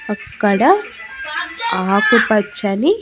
అక్కడ ఆకుపచ్చని--